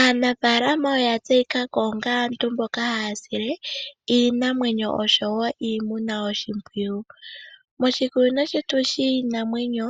Aanafalama oya ya tseyikako onge aantu mboka haya sile iinamwenyo osho wo iimuna oshimpwiyu. Moshikunino shetu shiinamwenyo